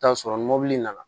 Taa sɔrɔ ni mɔbili nana